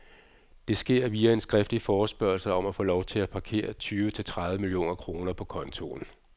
Det sker via en skriftlig forespørgsel om at få lov til at parkere tyve til tredive millioner kroner på kontoen.